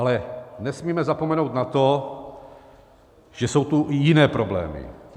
Ale nesmíme zapomenout na to, že jsou tu i jiné problémy.